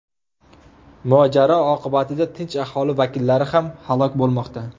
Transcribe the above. Mojaro oqibatida tinch aholi vakillari ham halok bo‘lmoqda.